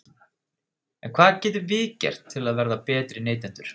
En hvað getum við gert til að verða betri neytendur?